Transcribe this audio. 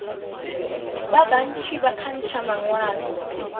ba bantši ba kgantšha mangwalo